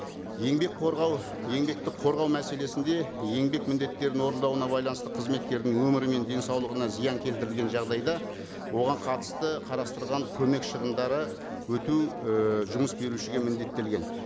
еңбек қорғау еңбекті қорғау мәселесінде еңбек міндеттерін орындауына байланысты қызметкердің өмірі мен денсаулығына зиян келтірілген жағдайда оған қатысты қарастырған көмек шығындары өтеу ы жұмыс берушіге міндеттелген